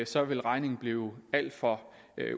så ville regningen blive alt for